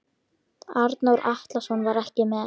Arnór Atlason var ekki með.